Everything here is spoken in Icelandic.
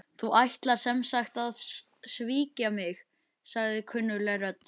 Þú ætlar sem sagt að svíkja mig- sagði kunnugleg rödd.